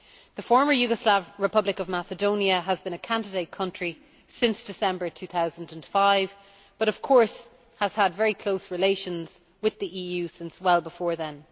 The Former Yugoslav Republic of Macedonia has been a candidate country since December 2005 but of course has had very close relations with the EU since well before then.